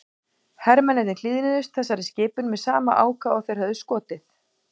Hermennirnir hlýðnuðust þessari skipun með sama ákafa og þeir höfðu skotið.